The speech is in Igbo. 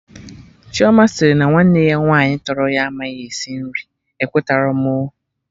Chioma sịrị na nwanne ya nwaanyị tọrọ ya amaghị esi nri, ekweterọ m oo